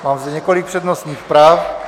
Mám zde několik přednostních práv.